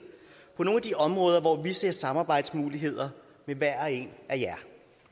på nogle af de områder hvor vi ser samarbejdsmuligheder med hver og en af jer